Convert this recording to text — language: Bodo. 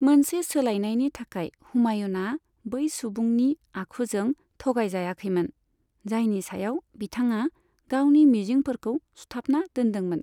मोनसे सोलायनायनि थाखाय, हुमायूनआ बै सुबुंनि आखुजों थगायजायाखैमोन, जायनि सायाव बिथाङा गावनि मिजिंफोरखौ सुथाबना दोन्दोंमोन।